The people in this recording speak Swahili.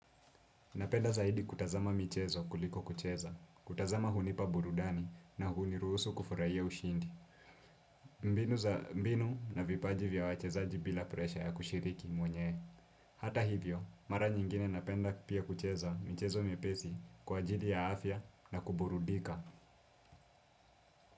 Napenda zaidi kutazama michezo kuliko kucheza. Kutazama hunipa burudani na huniruhusu kufurahia ushindi. Mbinu za mbinu na vipaji vya wachezaji bila presha ya kushiriki mwenye. Hata hivyo, mara nyingine napenda pia kucheza michezo miepesi kwa ajili ya afya na kuburudika.